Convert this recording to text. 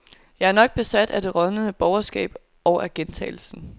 Jeg er nok besat af det rådnende borgerskab og af gentagelsen.